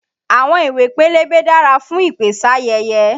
Àwọn ìwé pélébé dára fún ìpèsáyẹyẹ.